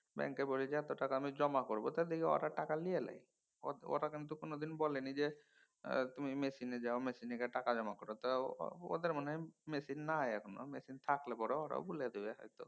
ব্যাঙ্কে বলি যে এত টাকা আমি জমা করব দেখি ওরা টাকা লিয়ে লেয়। ওরা কিন্তু কোনোদিন বলেনি যে তুমি machine এ যাও machine এ গিয়ে টাকা জমা করো। তা ওদের মনে হয় machine থাকলে পরে ওরা বুলে দিবে হয়ত।